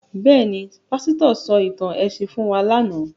Bẹ́ẹ̀ ni, pásítọ̀ sọ ìtàn ẹ̀sìn fún wa lánàá.